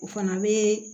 O fana bɛ